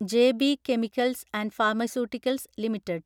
J B chemicals and pharmaceuticals limited